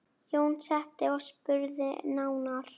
Jón settist og spurði nánar.